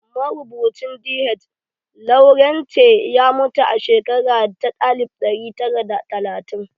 Marubucin DH Lawrence ya mutu a shekara ta alif ɗari tara da talatin.